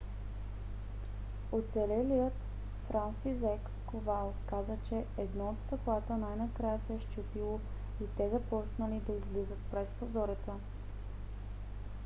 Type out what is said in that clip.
оцелелият франсизек ковал каза че едно от стъклата най - накрая се счупило и те започнали да излизат през прозореца.